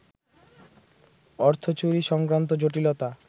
অর্থচুরি সংক্রান্ত জটিলতা